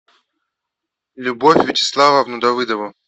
любовь вячеславовну давыдову